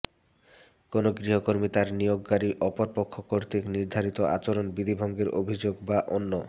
কোন গৃহকর্মী তার নিয়োগকারী অপর পক্ষ কর্তৃক নির্ধারিত আচরণ বিধি ভঙ্গের অভিযোগ বা অন্য